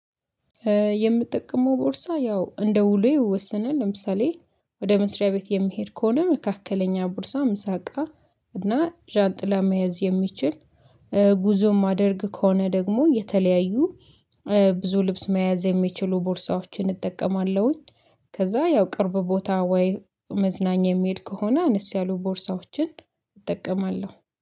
የምጠቀመው ቦርሳ ያው እንደ ውሎዬ ይወሰናል። ለምሳሌ ወደ መስሪያ ቤት የምሄድ ከሆነ መካከለኛ ቦርሳ ምሳ እቃ እና ዣንጥላ መያዝ የሚችል፦ ጉዞን ማደርግ ከሆነ ደግሞ የተለያዩ ብዙ ልብስ መያዝ የሚችሉ ቦርሳዎችን እጠቀማለሁኝ። ከዛ ያው ቅርብ ቦታ ወይ መዝናኛ የሚሄድ ከሆነ አነስ ያሉ ቦርሳዎችን እጠቀማለሁ።